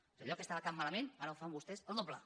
és a dir allò que estava tan malament ara ho fan vostès el doble